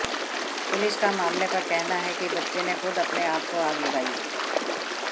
police का मामले पर कहना है कि बच्चे ने खुद अपने आप को आग लगाई